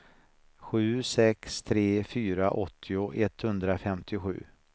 sju sex tre fyra åttio etthundrafemtiosju